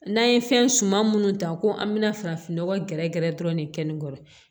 N'an ye fɛn suma minnu ta ko an bɛna farafinnɔgɔn gɛrɛ gɛrɛ dɔrɔn de keningkɔrɔ